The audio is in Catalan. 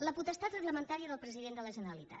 la potestat reglamentària del president de la generalitat